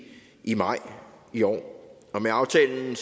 i maj i år med aftalen